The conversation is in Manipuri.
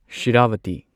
ꯁꯤꯔꯥꯚꯇꯤ